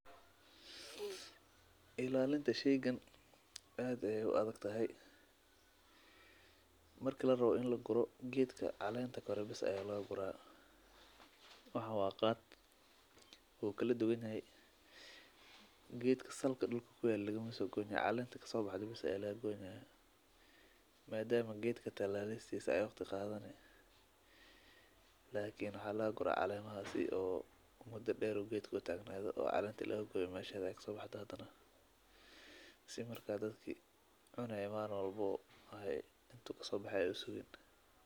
Ilalinta shaygan aad ay u adagtahay markii la rowa in la guuro geedka caleenta koreebis ay leegaa guraa wax waqaad ku kala duwan hay. Geedka salki dulku ku yaal laguma so gooni calenta ka sobax doobay isla gooni ah. Ma daami geedka talaalaystii iska oo khaadane. Lakiin xaa la guraa Calema aasi oo muddo dheeru geedku taagnayd oo caleenti lagu gooye maashay ay sobax hadana. Si markaa dadki cuney mar walbo ahay intuu ka soo baxee u sugan.